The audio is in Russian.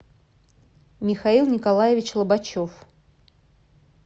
михаил николаевич лобачев